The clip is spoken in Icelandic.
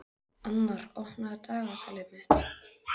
Annar, opnaðu dagatalið mitt.